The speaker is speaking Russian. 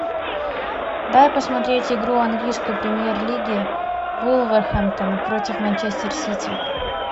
дай посмотреть игру английской премьер лиги вулверхэмптона против манчестер сити